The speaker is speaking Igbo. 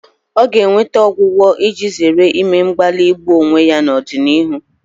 Ọ ga-enweta ọgwụgwọ iji zere ime mgbalị igbu onwe ya n'ọdịnihu